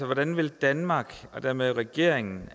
hvordan vil danmark og dermed regeringen